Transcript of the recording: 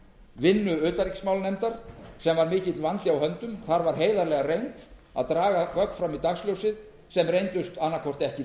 vinnu utanríkismálanefndar sem var mikill vandi á höndum þar var heiðarlega reynt að draga gögn fram í dagsljósið sem reyndust annaðhvort ekki